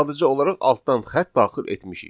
Sadəcə olaraq altdan xətt daxil etmişik.